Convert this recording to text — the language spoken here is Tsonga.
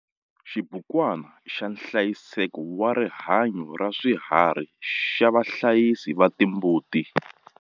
Xibukwana xa nhlayiseko wa rihanyo ra swiharhi xa vahlayisi va timbuti.